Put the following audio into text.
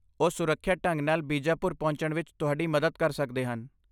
ਉਹ ਸੁਰੱਖਿਅਤ ਢੰਗ ਨਾਲ ਬੀਜਾਪੁਰ ਪਹੁੰਚਣ ਵਿੱਚ ਤੁਹਾਡੀ ਮਦਦ ਕਰ ਸਕਦੇ ਹਨ।